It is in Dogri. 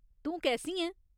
तूं कैसी ऐं ?